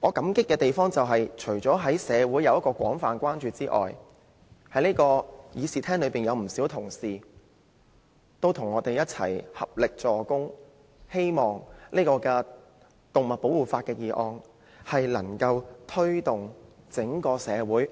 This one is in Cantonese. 我感激社會各界廣泛關注，以及議事廳內不少同事與我們合力，藉動物保護法的議案推動整體社會